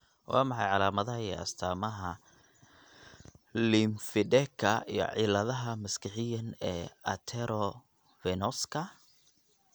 Waa maxay calaamadaha iyo astaamaha Lymphedeka iyo ciladaha maskaxiyan e arteriovenouska?